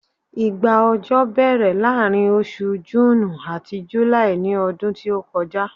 igba ọjọ bèèrè laarin osù June ati July ní ọdún tí o kọjá